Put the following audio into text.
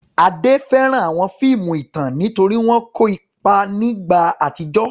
Ade fẹ́ràn àwọn fíìmù ìtàn nítorí wọ́n kọ́ ọ nípa ìgbà àtijọ́.